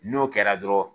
N'o kɛra dɔrɔn